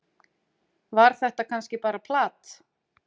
var þetta kannski bara plat